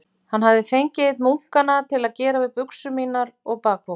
Hafði hann fengið einn munkanna til að gera við buxur mínar og bakpoka.